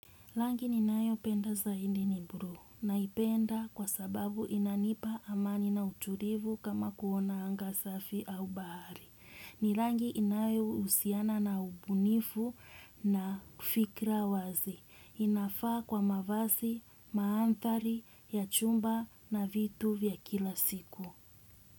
Rangi ninayo penda zaidi ni bluu naipenda kwa sababu inanipa amani na utulivu kama kuona anga safi au bahari. Ni rangi inayo husiana na ubunifu na fikra wazi inafaa kwa mavazi, maanthari ya chumba na vitu vya kila siku.